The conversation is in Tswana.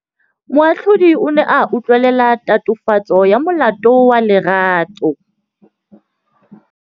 Moatlhodi o ne a utlwelela tatofatsô ya molato wa Lerato.